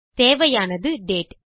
தேவையானது டேட்